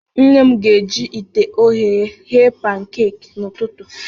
Nne m ga-eji ite ogheye ghee pankaki n'ụtụtụ.